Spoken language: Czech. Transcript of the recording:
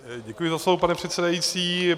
Děkuji za slovo, pane předsedající.